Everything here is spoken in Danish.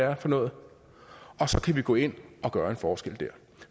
er for noget og så kan vi gå ind og gøre en forskel dér